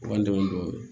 Wa n dɛmɛ don